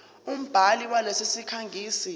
umbhali walesi sikhangisi